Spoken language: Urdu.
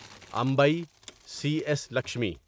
MBA C S Lakshmi